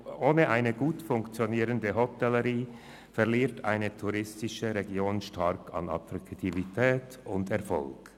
Ohne eine gut funktionierende Hotellerie verliert eine touristische Region stark an Attraktivität und Erfolg.